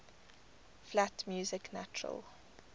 flat music natural